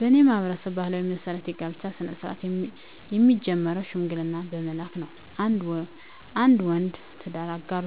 በኔ ማህበረሰብ ባህል መሰረት የጋብቻ ስነ-ስርአት የሚጀምረው ሽምግልና በመላክ ነው። አንድ ወንድ የትዳር አጋሩ